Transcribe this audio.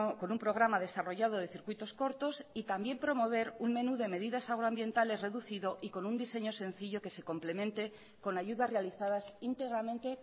con un programa desarrollado de circuitos cortos y también promover un menú de medidas agroambientales reducido y con un diseño sencillo que se complemente con ayudas realizadas íntegramente